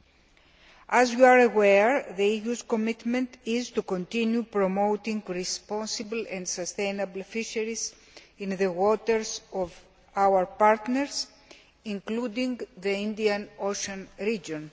As the House will be aware, the EU's commitment is to continue promoting responsible and sustainable fisheries in the waters of our partners, including the Indian Ocean region.